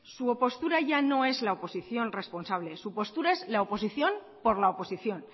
su postura ya no es la oposición responsable su postura es la oposición por la oposición